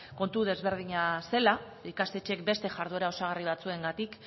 kontu desberdina zela ikastetxeek beste jarduera osagarri batzuengatik